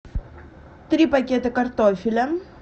три пакета картофеля